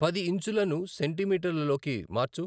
పది ఇంచులను సెంటీమీటర్ల లోకి మార్చు